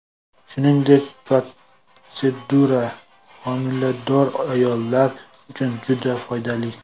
Shuningdek, protsedura homilador ayollar uchun juda foydali.